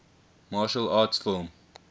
martial arts film